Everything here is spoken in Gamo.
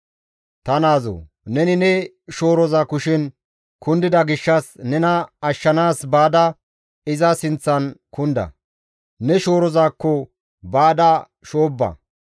ta naazoo! Neni ne shooroza kushen kundida gishshas nena ashshanaas baada iza sinththan kunda; ne shoorozakko baada shoobba.